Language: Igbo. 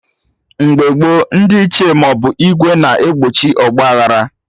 Mgbe gboo, ndị Ichie maọbụ ìgwè na-egbochi ọgba aghara